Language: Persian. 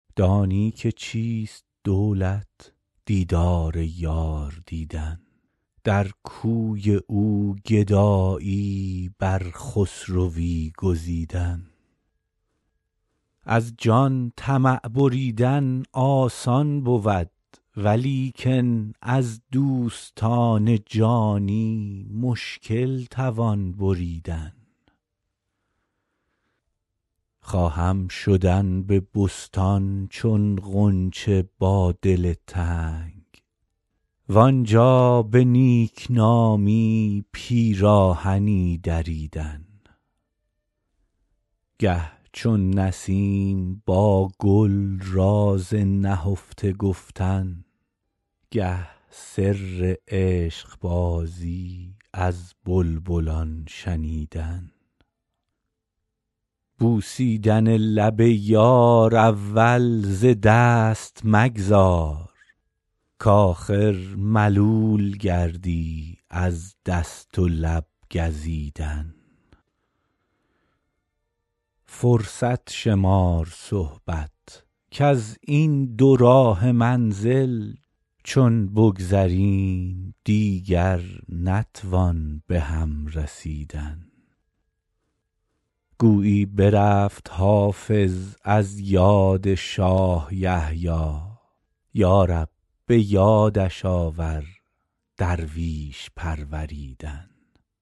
دانی که چیست دولت دیدار یار دیدن در کوی او گدایی بر خسروی گزیدن از جان طمع بریدن آسان بود ولیکن از دوستان جانی مشکل توان بریدن خواهم شدن به بستان چون غنچه با دل تنگ وآنجا به نیک نامی پیراهنی دریدن گه چون نسیم با گل راز نهفته گفتن گه سر عشق بازی از بلبلان شنیدن بوسیدن لب یار اول ز دست مگذار کآخر ملول گردی از دست و لب گزیدن فرصت شمار صحبت کز این دوراهه منزل چون بگذریم دیگر نتوان به هم رسیدن گویی برفت حافظ از یاد شاه یحیی یا رب به یادش آور درویش پروریدن